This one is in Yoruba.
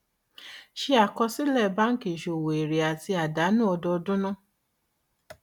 ṣètò àkọsílẹ báńkì ìṣòwò èrè àti àdánù ọdún ọdún náà